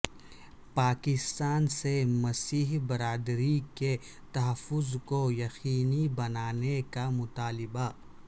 پاکستان سے مسیحی برادری کے تحفظ کو یقینی بنانے کا مطالبہ